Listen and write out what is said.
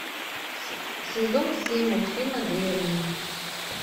сезон семь мультфильма древние